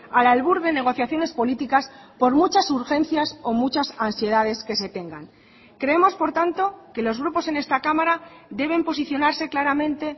al albur de negociaciones políticas por muchas urgencias o muchas ansiedades que se tengan creemos por tanto que los grupos en esta cámara deben posicionarse claramente